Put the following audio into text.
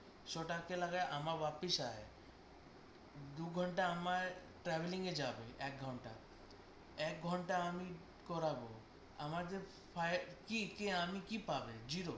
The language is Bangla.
সেটা কে লাগায় আমার ব্যাপী দু ঘন্টায় আমার travelling এ যাবে এক ঘন্টা এক ঘন্টা আমি করবো, আমার যে কি কি আমি আমি কি পাবো zero loss